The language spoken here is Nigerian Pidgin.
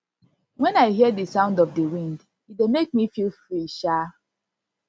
wen i hear di sound of di wind e dey make me feel free um